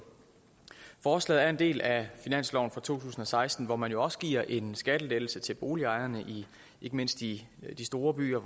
forslaget er en del af finansloven for to tusind og seksten hvor man jo også giver en skattelettelse til boligejerne ikke mindst i de store byer